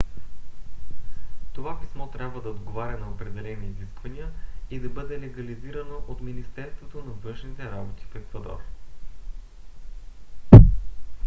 това писмо трябва да отговаря на определени изисквания и да бъде легализирано от министерството на външните работи на еквадор